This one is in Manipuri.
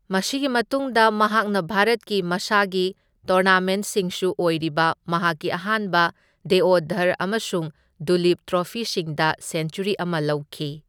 ꯃꯁꯤꯒꯤ ꯃꯇꯨꯡꯗ ꯃꯍꯥꯛꯅ ꯚꯥꯔꯠꯀꯤ ꯃꯁꯥꯒꯤ ꯇꯣꯔꯅꯥꯃꯦꯟꯠꯁꯤꯡꯁꯨꯨ ꯑꯣꯏꯔꯤꯕ ꯃꯍꯥꯛꯀꯤ ꯑꯍꯥꯟꯕ ꯗꯦꯑꯣꯙꯔ ꯑꯃꯁꯨꯡ ꯗꯨꯂꯤꯞ ꯇ꯭ꯔꯣꯐꯤꯁꯤꯡꯗ ꯁꯦꯟꯆꯨꯔꯤ ꯑꯃ ꯂꯧꯈꯤ꯫